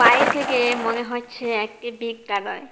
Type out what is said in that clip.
বাইরে থেকে মনে হচ্ছে একটি বিদ্যালয়।